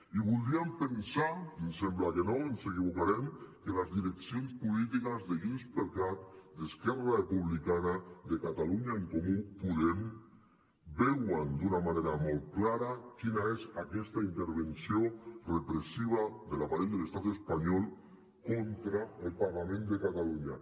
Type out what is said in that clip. i voldríem pensar ens sembla que no ens equivocarem que les direccions polítiques de junts per cat d’esquerra republicana de catalunya en comú podem veuen d’una manera molt clara quina és aquesta intervenció repressiva de l’aparell de l’estat espanyol contra el parlament de catalunya